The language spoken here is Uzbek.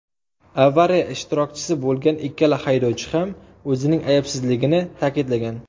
Avariya ishtirokchisi bo‘lgan ikkala haydovchi ham o‘zining aybsizligini ta’kidlagan.